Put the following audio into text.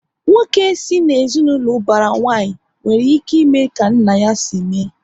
Nwoke si na ezinaụlọ ubara nwanyi, nwere ike ime ka nna ya si mee